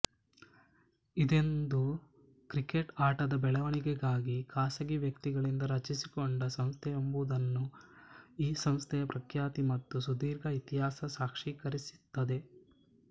ಇದೊಂದು ಕ್ರಿಕೆಟ್ ಆಟದ ಬೆಳವಣಿಗೆಗಾಗಿ ಖಾಸಗಿ ವ್ಯಕ್ತಿಗಳಿಂದ ರಚಿಸಿಕೊಂಡ ಸಂಸ್ಥೆಯೆಂಬುದನ್ನು ಈ ಸಂಸ್ಥೆಯ ಪ್ರಖ್ಯಾತಿ ಮತ್ತು ಸುದೀರ್ಘ ಇತಿಹಾಸ ಸಾಕ್ಷೀಕರಿಸುತ್ತದೆ